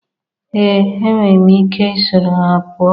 Ee enwere m ike soro ha pụọ